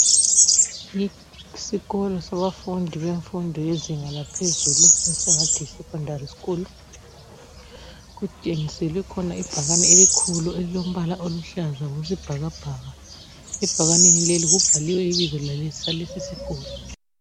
Isikolo sabafundi bemfundo yezinga laphezulu esingathi Yi Secondary school. Kukhona ibhakane elikhulu elilombala oluhlaza kumbe owesibhakabhaka. Ebhakaneni leli kubhaliwe ibizo lalesi sikolo